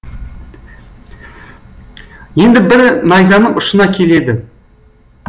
енді бірі найзаның ұшына келеді